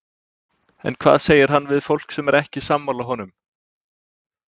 En hvað segir hann við fólk sem er ekki sammála honum?